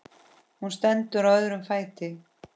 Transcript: Hún stendur á öðrum fæti.